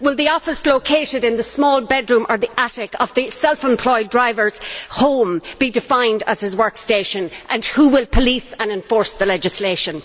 Will the office located in the small bedroom or the attic of the self employed driver's home be defined as his work station, and who will police and enforce the legislation?